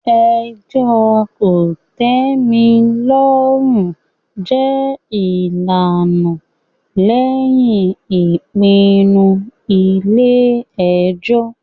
ẹjọ́ kòtẹ́milọ́rùn jẹ́ ìlànà lẹ́yìn ìpinnu ilé ẹjọ́.